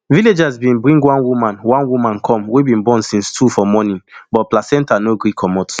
villagers bin bring one woman one woman come wey bin born since two for morning but placenta no gree comot